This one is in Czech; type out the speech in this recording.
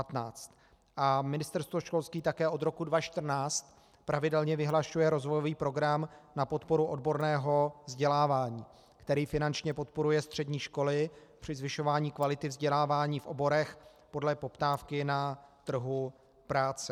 A Ministerstvo školství také od roku 2014 pravidelně vyhlašuje rozvojový program na podporu odborného vzdělávání, který finančně podporuje střední školy při zvyšování kvality vzdělávání v oborech podle poptávky na trhu práce.